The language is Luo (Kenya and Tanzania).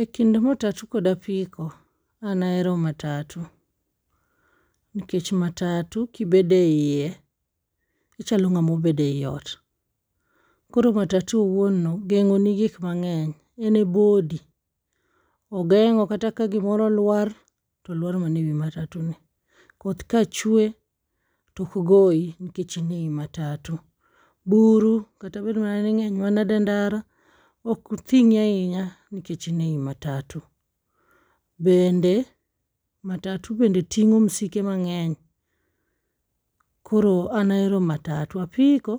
E kind matatu kod apiko, an ahero matatu. Nikech matatu kibedo eiye, ichalo ng'ama obedo ei ot. Koro matatu owuon no geng'o ni gik mang'eny. En e body. Ogeng'o kata ka gimoro lwar, tolwar mana e wi matatu ni, koth ka chwe tok goyi nikech in ei matatu, buru kata bed mana ni ng'eny manade e ndara ok thing'i ahinya nikech in ei matatu. Bende, matatu bende ting'o msike mang'eny. Koro an ahero matatu. Apiko,